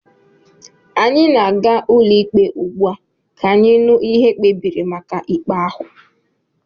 Anyị na-aga ụlọikpe ugbu a ka anyị nụ ihe ekpebiri gbasara ikpe ahụ